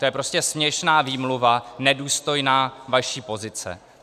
To je prostě směšná výmluva, nedůstojná vaší pozice.